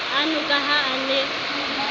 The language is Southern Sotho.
ano ka ha a ne